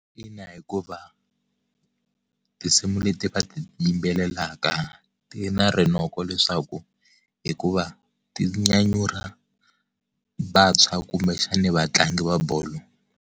Ina hikuva tinsimu leti va yimbelelaka ti na rinoko leswaku, hikuva, ti nyanyula vantshwa kumbexana vatlangi va bolo.